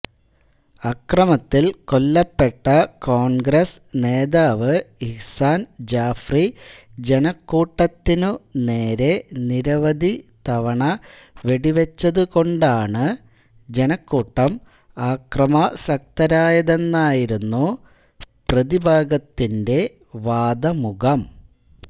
അക്രമത്തിൽ കൊല്ലപ്പെട്ട കോൺഗ്രസ്സ് നേതാവ് ഇഹ്സാൻ ജാഫ്രി ജനക്കൂട്ടത്തിനു നേരെ നിരവധി തവണ വെടിവെച്ചതുകൊണ്ടാണ് ജനക്കൂട്ടം അക്രമാസക്തരായതെന്നായിരുന്നു പ്രതിഭാഗത്തിന്റെ വാദമുഖം